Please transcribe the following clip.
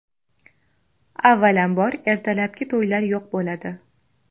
Avvalambor ertalabki to‘ylar yo‘q bo‘ladi.